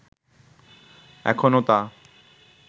এখনো তা